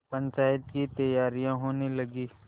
पंचायत की तैयारियाँ होने लगीं